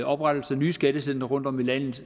oprettelse af nye skattecentre rundtom i landet